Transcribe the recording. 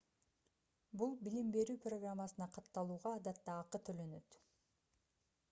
бул билим берүү программасына катталууга адатта акы төлөнөт